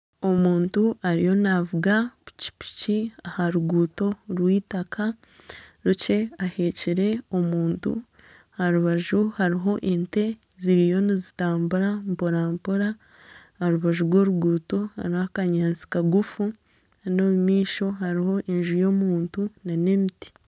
Omuntu ariyo naavuga pikipiki aha ruguuto rwitaka rukye ahekire omuntu, aha rubaju hariho ente ziriyo nizitambura mpora mpora aha rubaju rw'oruguuto hariho akanyaatsi kagufu kandi omu maisho hariho enju y'omuntu nana emiti